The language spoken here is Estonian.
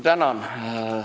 Tänan!